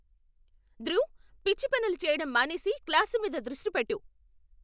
ధృవ్, పిచ్చి పనులు చేయడం మానేసి, క్లాసు మీద దృష్టి పెట్టు!